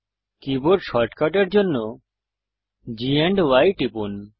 keyboard শর্টকাটের জন্য G AMP Y টিপুন